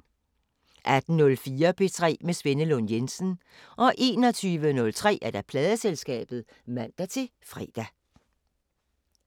18:04: P3 med Svenne Lund Jensen 21:03: Pladeselskabet (man-fre)